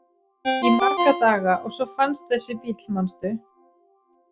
Í marga daga og svo fannst þessi bíll, manstu?